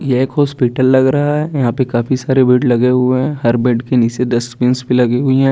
यह एक हॉस्पिटल लग रहा है यहाँ पे काफी सारे बेड लगे हुए है हर बेड के निचे डस्टबिन्स भी लगी हुई हैं।